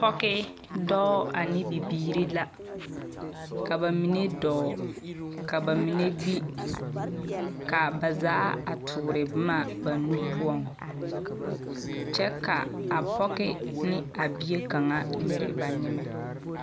Pɔge dɔɔ ane bibiiri la. Ka ba mine dɔɔ, ka ba mine gbi, ka ba zaa a toore boma ba nu poɔŋ. Kyɛ ka a pɔge ne a bie kaŋa a nyere ba nyemɛ.